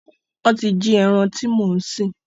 Wọn tí jí ẹran tí mo ń sìn